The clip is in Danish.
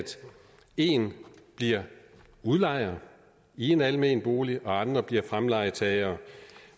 én bliver udlejer i en almen bolig og andre bliver fremlejetagere